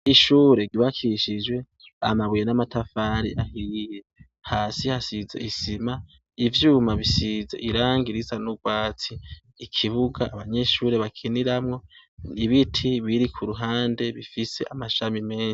ishure ry'ubakishijwe amabuye n'amatafari ahiye .Hasi hasize izima ivyuma bisize irangi risa n'urwatsi ikibuga abanyeshuri bakiniramwo ibiti biri ku ruhande bifise amashami menshi.